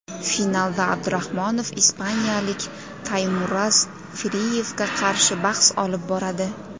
Finalda Abdurahmonov ispaniyalik Taymuraz Friyevga qarshi bahs olib boradi.